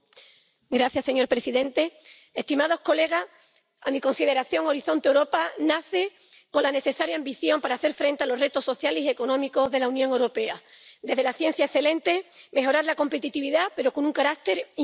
Señor presidente, señorías, a mi consideración, Horizonte Europa nace con la necesaria ambición para hacer frente a los retos sociales y económicos de la Unión Europea desde la ciencia excelente, mejorar la competitividad, pero con un carácter inclusivo.